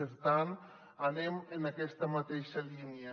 per tant anem en aquesta mateixa línia